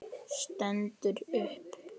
Stendur upp.